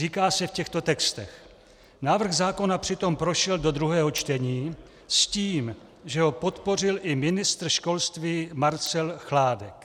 Říká se v těchto textech: Návrh zákona přitom prošel do druhého čtení s tím, že ho podpořil i ministr školství Marcel Chládek.